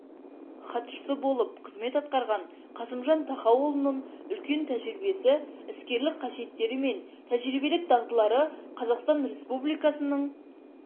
хатшысы болып қызмет атқарған қасымжан тахауұлының үлкен тәжірибесі іскерлік қасиеттері мен тәжірибелік дағдылары қазақстан республикасының